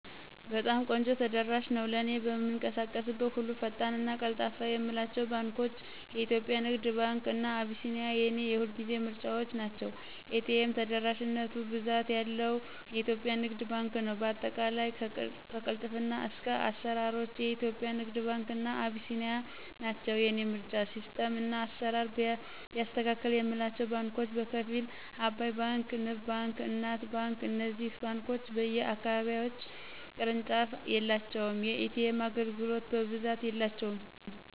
በጣም ቆንጆ ተደራሽ ነው። ለእኔ በምንቀሳቀስበት ሁሉ ፈጣን እና ቀልጣፋ የምላቸው ባንኳች :- ኢትዮጵያ ንግድ ባንክ እና አቢሲኒያ የኔ የሁልጊዜ ምርጫዎቸ ናቸው። ኤ.ቴ.ም ተደራሽነቱ ብዛት ያለው ኢትዮጵያ ንግድ ባንክ ነው በአጠቃላይ ከቅልጥፍና እስከ አስራሮች ኢትዮጵያ ንግድ ባንክ እና አቢሲኒያ ናቸው የኔ ምርጫ። ሲስተም እና አስራር ቢያስተካክል የምላቸው ባንኮች በከፊል። አባይ ባንክ; ንብ ባንክ: እናት ባንክ እነዚህ ባንኮች በየ አካባቢዎች ቅርንጫፍ የላቸውም። የኤ.ቴም አገልግሎት በብዛት የላቸውም